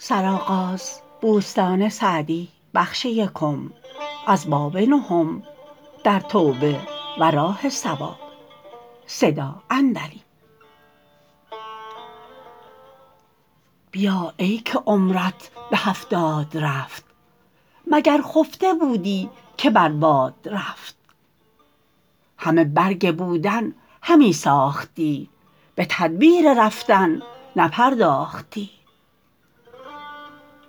بیا ای که عمرت به هفتاد رفت مگر خفته بودی که بر باد رفت همه برگ بودن همی ساختی به تدبیر رفتن نپرداختی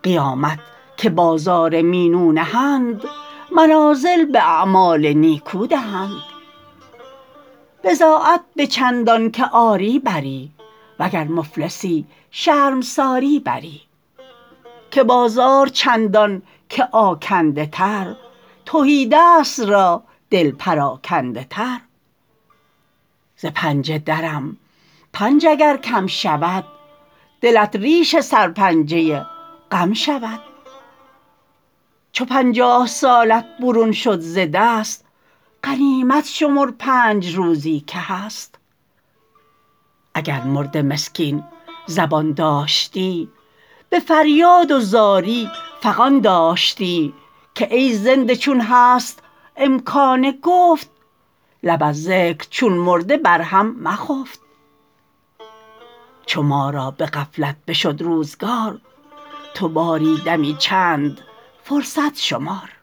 قیامت که بازار مینو نهند منازل به اعمال نیکو دهند بضاعت به چندان که آری بری وگر مفلسی شرمساری بری که بازار چندان که آکنده تر تهیدست را دل پراکنده تر ز پنجه درم پنج اگر کم شود دلت ریش سرپنجه غم شود چو پنجاه سالت برون شد ز دست غنیمت شمر پنج روزی که هست اگر مرده مسکین زبان داشتی به فریاد و زاری فغان داشتی که ای زنده چون هست امکان گفت لب از ذکر چون مرده بر هم مخفت چو ما را به غفلت بشد روزگار تو باری دمی چند فرصت شمار